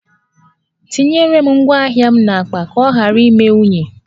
Etinyere m ngwá ahịa m n’akpa ka ọ ghara ime unyi